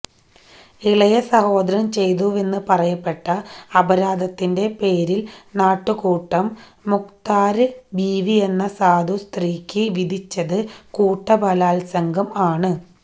ഇളയ സഹോദരന് ചെയ്തുവെന്ന് പറയപ്പെട്ട അപരാധത്തിന്റെ പേരില് നാട്ടുക്കൂട്ടം മുഖ്താര് ബീവിയെന്ന സാധു സ്ത്രീക്ക് വിധിച്ചത് കൂട്ട ബലാത്സംഗം ആണ്